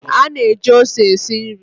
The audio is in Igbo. A na-eji ose esi nri.